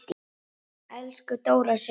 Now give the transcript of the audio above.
Elsku Dóra systir.